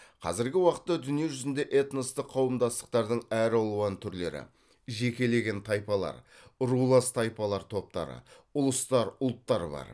қазіргі уақытта дүние жүзінде этностық қауымдастықтардың әр алуан түрлері жекелеген тайпалар рулас тайпалар топтары ұлыстар ұлттар бар